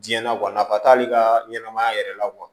Diɲɛ na nafa t'ale ka ɲɛnɛmaya yɛrɛ la